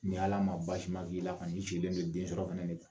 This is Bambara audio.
Ni Ala ma basima k'i la kɔni i sigilen de den sɔrɔ fana de kan